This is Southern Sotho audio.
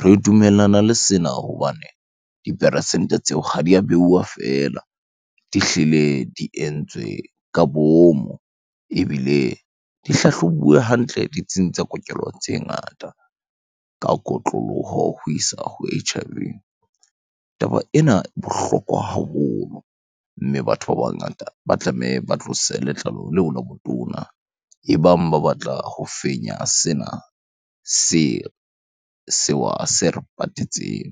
Re dumellana le sena hobane diperesente tseo ha di a beuwa feela, di hlile di entswe ka bomo ebile di hlahlobuwe hantle ditsing tsa kokelo tse ngata ka kotloloho ho isa ho H_I_V. Taba ena e bohlokwa haholo, mme batho ba bangata ba tlameha ba tlose letlalo leo la botona ebang ba batla ho fenya sena, sewa se re patetseng.